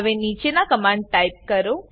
હવે નીચેના command type કરો